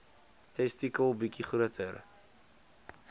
testikel bietjie groter